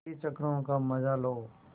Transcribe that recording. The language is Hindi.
पच्चीस चक्करों का मजा लो